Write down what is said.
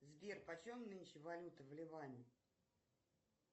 сбер почем нынче валюта в ливане